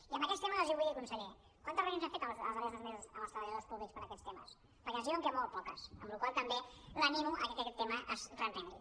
i en aquests temes els vull dir conseller quantes reunions han fet els darrers dos mesos amb els treballadors públics per aquests temes perquè ens diuen que molt poques amb la qual cosa també l’animo a que aquest tema es reprengui